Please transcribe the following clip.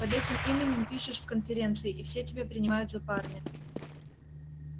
под этим именем пишешь в конференции и все тебя принимают за парня